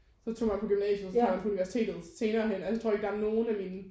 Så tog man på gymnasiet og så tager man på universitetet senerehen altså jeg tror ikke at der er nogen af mine